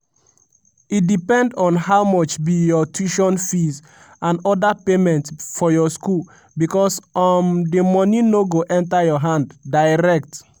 e depend on how much be your tuition fees and oda payments for your school becos um di money no go enter your hand direct.